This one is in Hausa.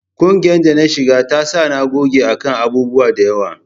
Ƙungiyar da na shiga ta sa na goge a kan abubuwa da yawa